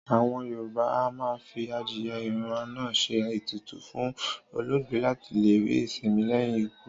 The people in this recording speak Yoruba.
Àwọn Yorùbá a máa fi adìyẹ ìràná ṣe ètùtù fún olóògbé láti lè rí ìsinmi lẹ́yìn ikú